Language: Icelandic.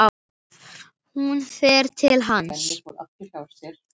Hún fer til hans.